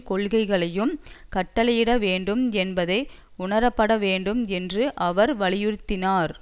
கொள்கைகளையும் கட்டளையிட வேண்டும் என்பதை உணரப்பட வேண்டும் என்று அவர் வலியுறுத்தினார்